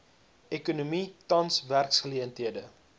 ekonomie tans werksgeleenthede